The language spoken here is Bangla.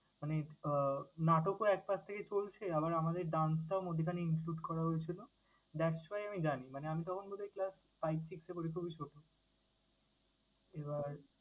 মানে নাটকও একপাশ থেকে চলছে আবার আমাদের dance টাও মধ্যিখানে include করা হয়েছিলো that's why আমি জানি। মানে আমি তখন বোধহয় class five, six এ পড়ি, খুবই ছোট।